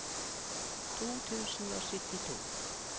to tusen og syttito